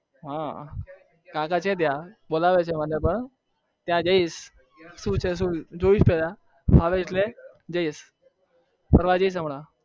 હા કાકા ત્યાં ગયા છે શું છે શું જોઇશ પેલા ફરવા જઈશ